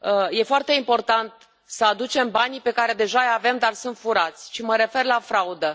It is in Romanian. E foarte important să aducem banii pe care deja îi avem, dar sunt furați și mă refer la fraudă.